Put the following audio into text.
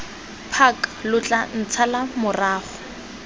park lo tla ntshala morago